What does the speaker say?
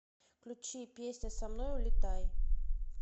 включи песня со мной улетай